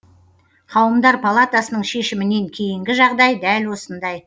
қауымдар палатасының шешімінен кейінгі жағдай дәл осындай